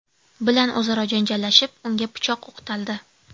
bilan o‘zaro janjallashib, unga pichoq o‘qtaldi.